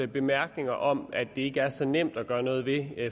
bemærkning om at det ikke er så nemt at gøre noget ved